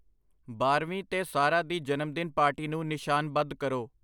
ਬਾਰ੍ਹਵੀਂ 'ਤੇ ਸਾਰਾਹ ਦੀ ਜਨਮਦਿਨ ਪਾਰਟੀ ਨੂੰ ਨਿਸ਼ਾਨਬੱਧ ਕਰੋ